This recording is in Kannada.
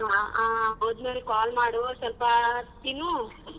ಆ ಹೋದ್ಮೇಲೆ call ಮಾಡು ಸ್ವಲ್ಪ ತಿನ್ನು.